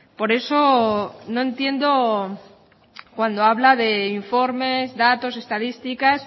por eso no entiendo cuando habla de informes datos estadísticas